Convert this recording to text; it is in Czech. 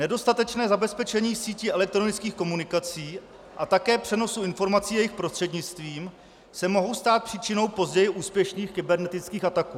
Nedostatečné zabezpečení sítí elektronických komunikací a také přenosu informací jejich prostřednictvím se mohou stát příčinou později úspěšných kybernetických ataků.